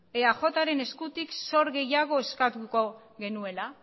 eajren eskutik zor gehiago eskatuko genuela